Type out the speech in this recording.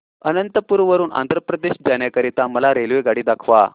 अनंतपुर वरून आंध्र प्रदेश जाण्या करीता मला रेल्वेगाडी दाखवा